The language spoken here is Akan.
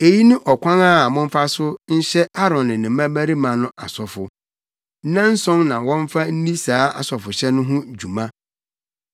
“Eyi ne ɔkwan a momfa so nhyɛ Aaron ne ne mmabarima no asɔfo. Nnanson na wɔmfa nni saa asɔfohyɛ no ho dwuma.